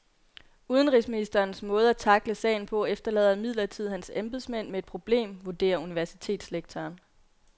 Udenrigsministerens måde at tackle sagen på efterlader imidlertid hans embedsmænd med et problem, vurderer universitetslektoren.